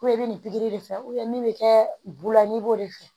i bɛ nin pikiri de fɛ min bɛ kɛ bula ni b'o de fɛ